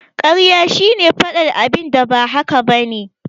Karya shine faɗar abinda ba haka bane